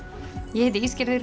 ég heiti